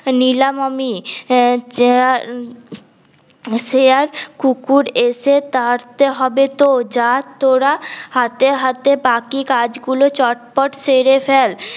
নিলাম আমি হম শেয়াল কুকুর এসে তাড়াতে হবে ত যা তোরা হাতে হাতে বাকি কাজ গুলো চটপট ছেড়ে ফেল